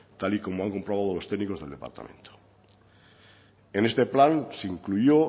tal y como han comprobado los técnicos del departamento en este plan se incluyó